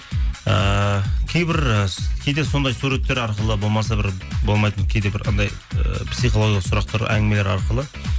ыыы кейбір і кейде сондай суреттер арқылы болмаса бір болмайтын кейде бір анандай ы психологиялық сұрақтар әңгімелер арқылы